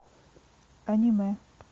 аниме